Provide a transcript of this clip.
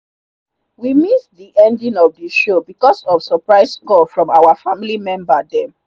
we miss the ending of the the show because of surprise call from our family member them.